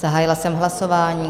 Zahájila jsem hlasování.